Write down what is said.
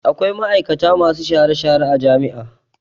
Akwai ma'aikata masu share-share a jami'a.